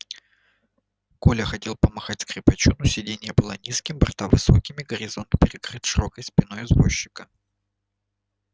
коля хотел помахать скрипачу но сиденье было низким борта высокими горизонт перекрыт широкой спиной извозчика